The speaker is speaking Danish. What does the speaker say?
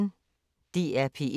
DR P1